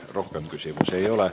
Teile rohkem küsimusi ei ole.